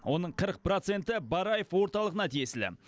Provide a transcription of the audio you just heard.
оның қырық проценті бараев орталығына тиесілі